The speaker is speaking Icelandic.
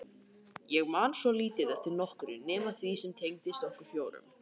Ég man svo lítið eftir nokkru nema því sem tengdist okkur fjórum.